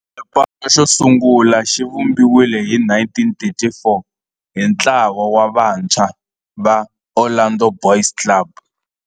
Xipano xosungula xivumbiwile hi 1934 hi ntlawa wa vantshwa va Orlando Boys Club.